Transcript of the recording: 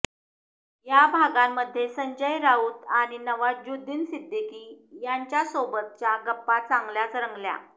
या भागामध्ये संजय राऊत आणि नवाजुद्दीन सिद्दीकी यांच्यासोबतच्या गप्पा चांगल्याच रंगल्या